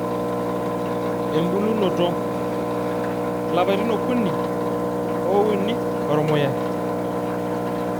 ebulunoto: ilapatin okuni ouni ormuya